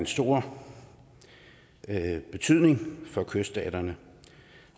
stor betydning for kyststaterne